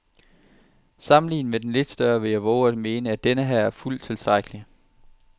Sammenlignet med den lidt større vil jeg vove at mene, at denneher er fuldt tilstrækkelig.